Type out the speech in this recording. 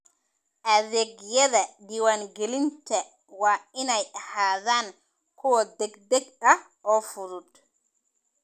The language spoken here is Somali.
Adeegyada diiwaangelinta waa inay ahaadaan kuwo degdeg ah oo fudud.